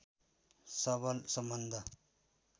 सबल सम्बन्ध